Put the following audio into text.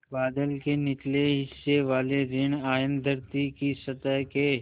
बादल के निचले हिस्से वाले ॠण आयन धरती की सतह के